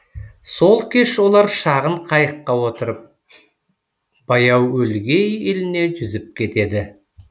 сол кеш олар шағын қайыққа отырып баяуөлгей еліне жүзіп кетеді